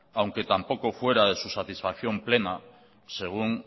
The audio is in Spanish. aunque tampoco fuera de su satisfacción plena según